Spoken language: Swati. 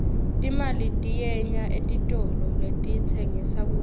timali tiyenya etitolo letitsengissa kudla